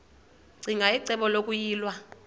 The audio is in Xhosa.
ccinge icebo lokuyilwa